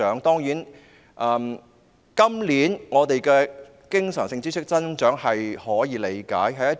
當然，今年的經常性支出有所增長，是可以理解的。